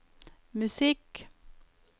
musikk